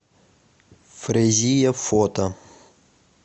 фрезия фото